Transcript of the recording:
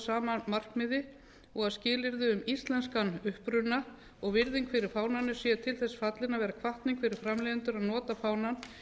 sama markmiði og að skilyrði um íslenskan uppruna og virðing fyrir fánanum sé til þess fallin að vera hvatning fyrir framleiðendur að nota fánann